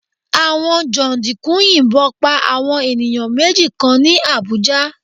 Àwọn jàǹdùkú yìnbọn pa àwọn ènìyàn méjì kan ní Àbújá